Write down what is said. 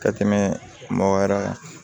Ka tɛmɛ mɔgɔ wɛrɛ kan